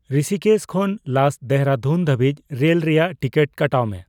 ᱨᱤᱥᱤᱠᱮᱥ ᱠᱷᱚᱱ ᱞᱟᱥ ᱫᱮᱨᱟᱫᱩᱱ ᱫᱷᱟᱵᱤᱡ ᱨᱮᱞ ᱨᱮᱭᱟᱜ ᱴᱤᱠᱤᱴ ᱠᱟᱴᱟᱣ ᱢᱮ